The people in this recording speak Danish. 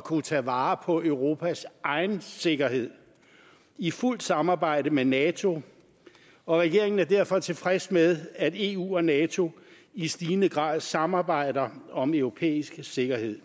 kunne tage vare på europas egen sikkerhed i fuldt samarbejde med nato og regeringen er derfor tilfreds med at eu og nato i stigende grad samarbejder om europæisk sikkerhed